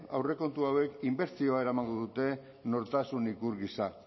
aurrekontu hauek inbertsioa eramango dute nortasun ikur gisa